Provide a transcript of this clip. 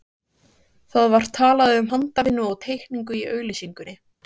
Það var talað um handavinnu og teikningu í auglýsingunni.